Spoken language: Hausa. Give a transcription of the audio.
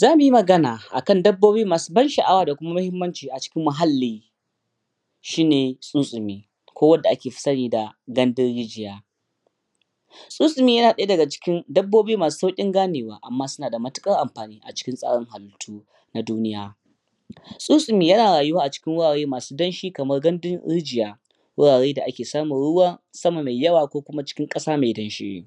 zamu magana akan dabbobi masu ban sha'awa da kuma muhimmanci acikin muhalli shine tsuntsumi ko wanda aka fi sani da gandun rijiya tsuntsumi yana daya daga cikin dabbobi masu saurin gane wa amma suna matukar amfani acikin tsarin hallitu um na duniya tsuntsumi yana rayuwa acikin wurare masu damshi kamar gandun rijiya wurare da ake samun ruwan sama mai yawa ko kuma cikin kasa mai damshi